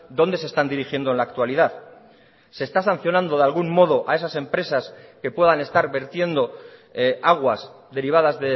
dónde se están dirigiendo en la actualidad se está sancionando de algún modo a esas empresas que puedan estar vertiendo aguas derivadas